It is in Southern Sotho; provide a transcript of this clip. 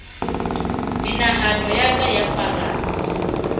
menahano ya ka ya farasa